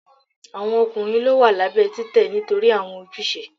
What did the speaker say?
Awọn ọkunrin lọ wa labẹ titẹ nitori awọn ojuse